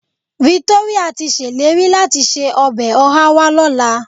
Victoria ti ṣèlérí láti se ọbẹ̀ ọhá wá lọ́la.